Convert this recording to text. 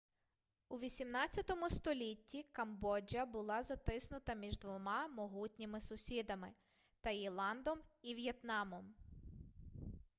у 18 столітті камбоджа була затиснута між двома могутніми сусідами — таїландом і в'єтнамом